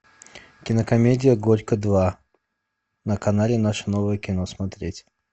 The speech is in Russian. кинокомедия горько два на канале наше новое кино смотреть